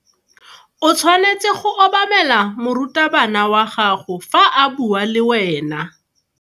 O tshwanetse go obamela morutabana wa gago fa a bua le wena.